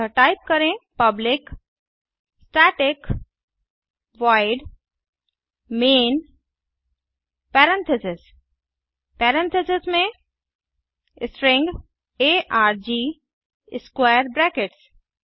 अतः टाइप करें160 public static void main parentheses में parentheses string arg square brackets